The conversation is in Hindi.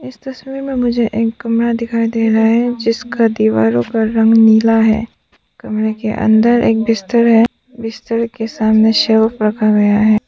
इस तस्वीर में मुझे एक कमरा दिखाई दे रहा है जिसका दीवारों पर रंग नीला है कमरे के अंदर एक बिस्तर है बिस्तर के सामने रखा गया है।